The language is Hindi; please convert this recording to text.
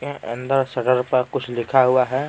अंदर सडर पर कुछ लिखा हुआ है।